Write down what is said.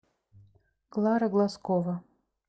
клара глазкова